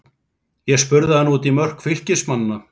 Ég spurði hann út í mörk Fylkismanna.